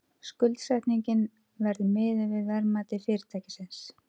Skuldsetningin verði miðuð við verðmæti fyrirtækisins